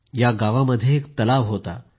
या गावामध्ये एक तलाव होता